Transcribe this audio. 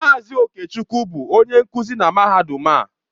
Mazị Okechukwu bụ onye nkuzi na mahadum a.